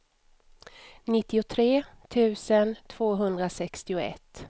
nittiotre tusen tvåhundrasextioett